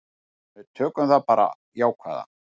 Við tökum bara það jákvæða.